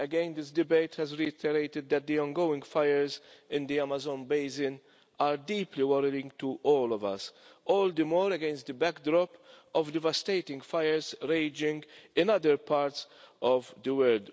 This debate has reiterated that the ongoing fires in the Amazon basin are deeply worrying to all of us, all the more so against the backdrop of devastating fires raging in other parts of the world.